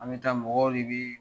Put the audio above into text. An bɛ taa mɔgɔw de bɛ